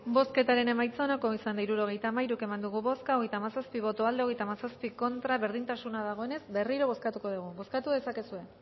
bozketaren emaitza onako izan da hirurogeita hamalau eman dugu bozka hogeita hamazazpi boto aldekoa treinta y siete contra berdintasuna dagoenez berriro bozkatuko dugu bozkatu dezakezue